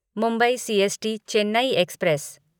Mumbai CST Chennai express